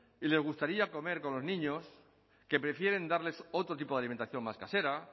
y les gustaría comer con los niños que prefieren darles otro tipo de alimentación más casera